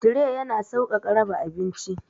Tire yana sauƙaƙa raba abinci.